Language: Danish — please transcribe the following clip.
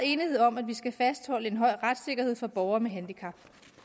enighed om at vi skal fastholde en høj retssikkerhed for borgere med handicap